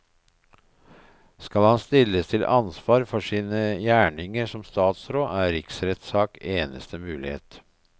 Skal han stilles til ansvar for sine gjerninger som statsråd, er riksrettssak eneste mulighet.